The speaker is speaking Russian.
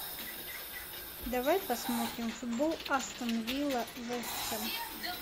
давай посмотрим футбол астон вилла вест хэм